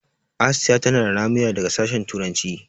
Asiya tana da ramuya daga sashen turanci.